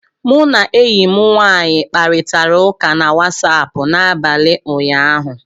Mụ na enyi m nwanyị kparịtara ụka na Wasapụ n'abalị ụnyaahụ